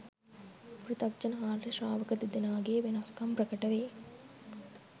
පෘථග්ජන ආර්ය ශ්‍රාවක දෙදෙනාගේ වෙනස්කම් ප්‍රකට වේ.